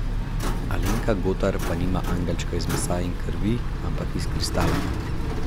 Alenka Gotar pa nima angelčka iz mesa in krvi, ampak iz kristala.